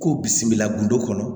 Ko bisimila undo kɔnɔ